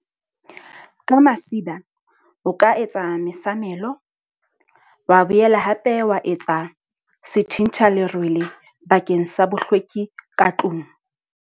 Ka masiba, o ka etsa mesamelo. Wa boela hape wa etsa sethentha lerwele bakeng sa bohlweki ka tlung.